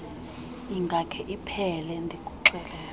ingakhe iphele ndikuxelele